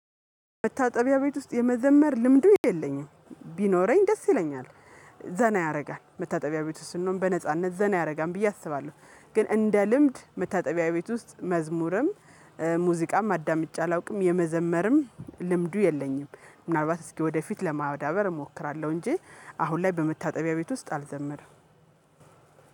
መታጠቢያ ቤት ውስጥ የመዘመር ልምዱ የለኝም ቢኖረኝ ደስ ይለኛል። ዘና ያደርጋል መታጠቢያ ቤት ውስጥ ስንሆን በነጻነት ዘና ያደርጋል ብዬ አስባለሁ። ግን እንደ ልምድ መታጠቢያ ቤት ውስጥ መዝሙርም ሙዚቃም አዳምጬ አላውቅም። የመዘመርም ልምዱ የለኝም ምንልባት እስኪ ወደፊት ለማዳበር እሞክራለሁ። እንጂ አሁን ላይ በመታጠቢያ ቤት ውስጥ አልዘመርም።